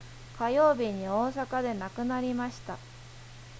火曜日に大阪で亡くなりました